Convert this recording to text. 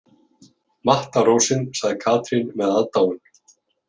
Matta rósin, segir Katrín með aðdáun.